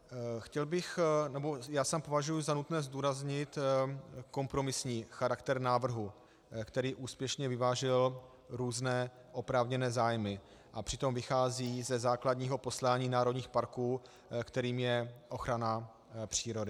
Já sám považuji za nutné zdůraznit kompromisní charakter návrhu, který úspěšně vyvážil různé oprávněné zájmy a přitom vychází ze základního poslání národních parků, kterým je ochrana přírody.